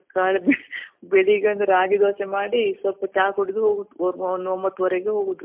ಹೌದು ಖಾಲಿ ಬೆಳಿಗ್ಗೆ ಒಂದ್ ರಾಗಿ ದೋಸೆ ಮಾಡಿ ಸ್ವಲ್ಪ ಚಾ ಕುಡ್ದು ಹೋಗುದು. ಒಂದ್ ಒಂಬತ್ತು ವರೆಗೆ ಹೋಗೋದು